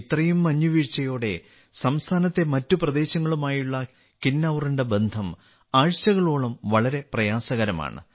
ഇത്രയും മഞ്ഞുവീഴ്ചയോടെ സംസ്ഥാനത്തെ മറ്റു പ്രദേശങ്ങളുമായുള്ള കിന്നൌറിന്റെ ബന്ധം ആഴ്ചകളോളം വളരെ പ്രയാസകരമാണ്